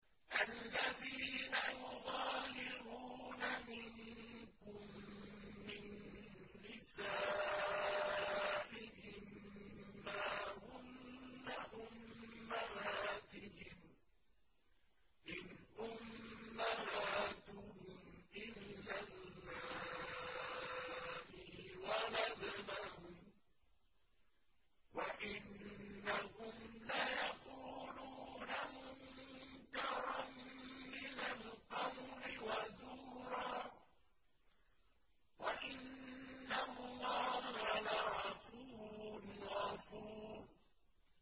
الَّذِينَ يُظَاهِرُونَ مِنكُم مِّن نِّسَائِهِم مَّا هُنَّ أُمَّهَاتِهِمْ ۖ إِنْ أُمَّهَاتُهُمْ إِلَّا اللَّائِي وَلَدْنَهُمْ ۚ وَإِنَّهُمْ لَيَقُولُونَ مُنكَرًا مِّنَ الْقَوْلِ وَزُورًا ۚ وَإِنَّ اللَّهَ لَعَفُوٌّ غَفُورٌ